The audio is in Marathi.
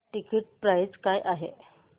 टिकीट प्राइस काय आहे